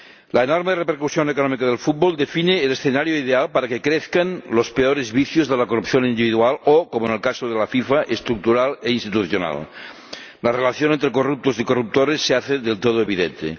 La enorme repercusión económica del fútbol define el escenario ideal para que crezcan los peores vicios de la corrupción individual o, como en el caso de la FIFA, estructural e institucional la relación entre corruptos y corruptores se hace del todo evidente.